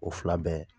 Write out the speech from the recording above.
O fila bɛɛ